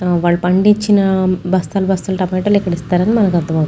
వాళ్ళు పండించిన బస్తాలు బస్తాలు టమోటాలు ఇక్కడ ఇస్తారు అర్థం అవుతుం--